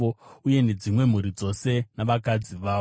uye nedzimwe mhuri dzose navakadzi vavo.